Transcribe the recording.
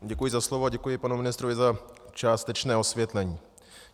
Děkuji za slovo a děkuji panu ministrovi za částečné osvětlení.